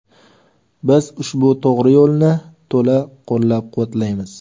Biz ushbu to‘g‘ri yo‘lni to‘la qo‘llab-quvvatlaymiz.